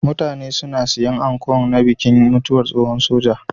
mutane suna sayan anko na bikin mutuwar tsohon soja